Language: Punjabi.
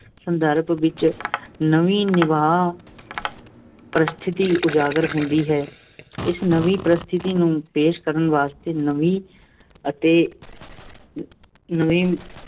ਸੰਦਰਭ ਵਿੱਚੋਂ ਨਵੀਂ ਨਿਭਾਓ-ਪ੍ਰਸਿਥਤੀ ਉਜਾਗਰ ਹੁੰਦੀ ਹੈ। ਇਸ ਨਵੀਂ ਪਰਿਸਥਿਤੀ ਨੂੰ ਪੇਸ਼ ਕਰਨ ਵਾਸਤੇ ਨਵੀਂ ਅਤੇ ਨਵੀਂ